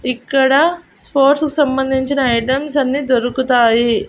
ఇక్కడ స్పోర్ట్స్ కు సంబంధించిన ఐటమ్స్ అన్నీ దొరుకుతాయి.